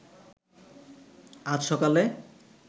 আজ সকালে